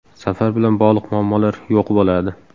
Safar bilan bog‘liq muammolar yo‘q bo‘ladi.